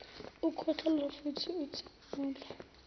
ukhwehlela futh uthimula